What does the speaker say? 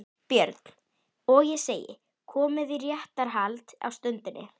BJÖRN: Og ég segi: Komið í réttarhald á stundinni